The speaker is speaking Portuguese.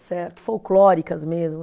Certo? Folclóricas mesmo